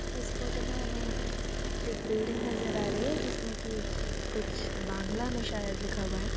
इस फोटो में हमें एक बिल्डिंग नजर आ रही है जिसमें कि कुछ बांग्‍ला में शायद‍ लिखा हुआ है।